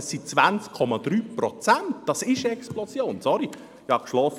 Dies sind 20,3 Prozent, dies ist eine Explosion, entschuldigen Sie.